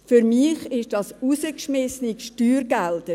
– Für mich sind das herausgeschmissene Steuergelder.